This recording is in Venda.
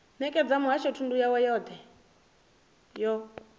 nekedza muhasho thundu yothe yo